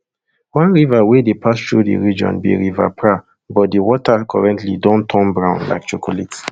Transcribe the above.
one river wia dey pass thru di region be river pra but di water currently don turn brown like chocolate